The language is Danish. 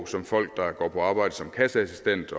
som folk der går på arbejde som kasseassistent